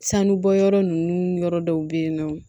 Sanubɔyɔrɔ ninnu yɔrɔ dɔw bɛ yen nɔ